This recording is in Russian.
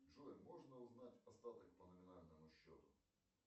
джой можно узнать остаток по номинальному счету